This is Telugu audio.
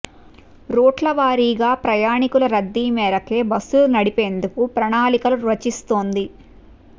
రూట్ల వారీగా ప్రయాణికుల రద్దీ మేరకే బస్సులు నడిపేందుకు ప్రణాళికలు రచిస్తోంది